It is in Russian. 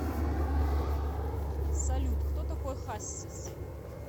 салют кто такой хассис